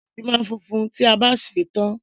Ìrẹsì máa ń funfun tí a bá sè é tán